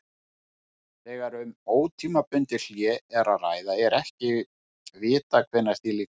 Þegar um ótímabundið hlé er að ræða er ekki vitað hvenær því lýkur.